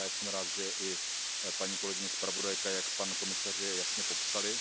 Já jsem rád, že i paní kolegyně zpravodajka i pan komisař je jasně popsali.